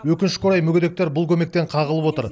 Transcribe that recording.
өкінішке қарай мүгедектер бұл көмектен қағылып отыр